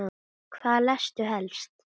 Hvað lestu helst?